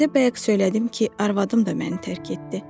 Sizə bayaq söylədim ki, arvadım da məni tərk etdi.